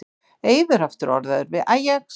Eiður aftur orðaður við Ajax